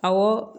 Awɔ